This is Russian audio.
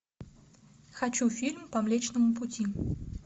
хочу фильм по млечному пути